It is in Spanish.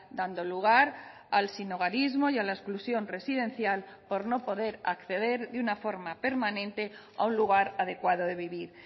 dando lugar al sinhogarismo y a la exclusión residencial por no poder acceder de una forma permanente a un lugar adecuado de vivir